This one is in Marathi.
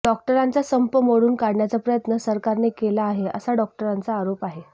डॉक्टरांचा संप मोडून काढण्याचा प्रयत्न सरकारने केला आहे असा डॉक्टरांचा आरोप आहे